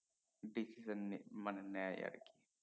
decision নি মানে নেয় আর কি